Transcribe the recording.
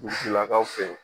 Dugutigilakaw fɛ yen.